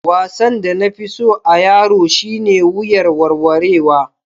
Wasan da na fi so a'yaro shine wuyar warwarewa.